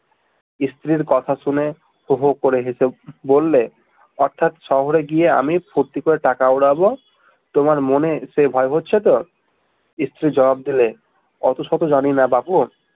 স্ত্রীর কথা শুনে হো হো করে হেসে বললে অর্থাৎ শহরে গিয়ে আমি ফূর্তি করে টাকা উড়াব তোমার মনে সেই ভয় হচ্ছে তো স্ত্রী জবাব দিলে অত শত জানিনা বাপু